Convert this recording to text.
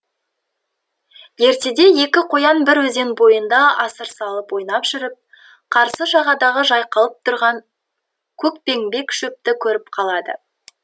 ертеде екі қоян бір өзен бойында асыр салып ойнап жүріп қарсы жағадағы жайқалып тұрған көкбеңбек шөпті көріп қалады